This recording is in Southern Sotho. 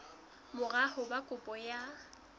mora ho ba kopo ya